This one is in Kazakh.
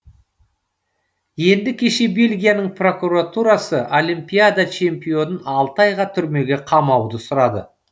енді кеше бельгияның прокуратурасы олимпиада чемпионын алты айға түрмеге қамауды сұрады